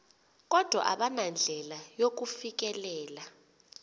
kodwa abanandlela yakufikelela